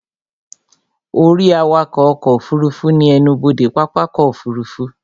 Ó rí awakọ̀ ọkọ̀ òfurufú ní ẹnubodè pápákọ̀ ọkọ̀ òfurufú